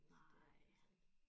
Nej